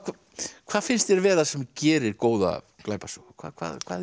hvað finnst þér vera sem gerir góða glæpasögu hvað hvað er